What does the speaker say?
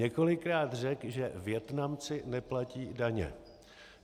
Několikrát řekl, že Vietnamci neplatí daně.